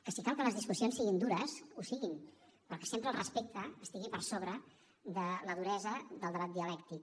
que si cal que les discussions siguin dures ho siguin però que sempre el respecte estigui per sobre de la duresa del debat dialèctic